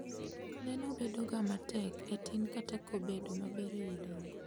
Neno bedo ga matek e tin kata kobedo maber e wi dongo